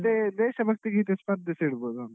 ಹಾ ಮತ್ತೆ ದೇಶಭಕ್ತಿ ಗೀತೆ ಸ್ಪರ್ಧೆ ಸಾ ಇಡ್ಬೋದ ಅಂತ.